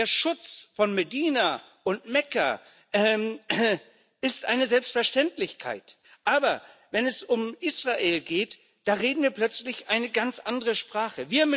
Der Schutz von Medina und Mekka ist eine Selbstverständlichkeit, aber wenn es um Israel geht, da reden wir plötzlich eine ganz andere Sprache.